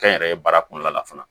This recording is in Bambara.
Kɛ n yɛrɛ ye baara kɔnɔna la fana